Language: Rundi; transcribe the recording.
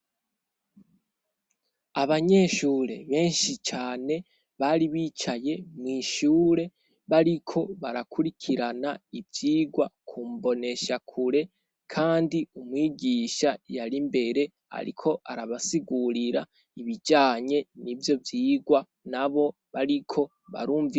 Abanyeshure benshi cane bari bicaye mw'ishure bariko barakurikirana ivyigwa kumboneshakure kandi umwigisha yari imbere ariko arabasigurira ibijanye n'ivyo vyigwa nabo bariko barumviriza.